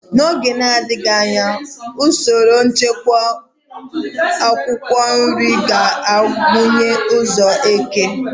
N'oge na-adịghị anya, usoro nchekwa akwụkwọ nri ga-agụnye ụzọ eke.